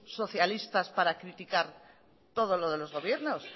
socialistas para criticar todo lo de los gobiernos